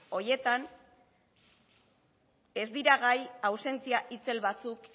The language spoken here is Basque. horietan ez dira gai ausentzia itzel batzuk